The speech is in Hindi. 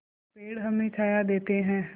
पेड़ हमें छाया देते हैं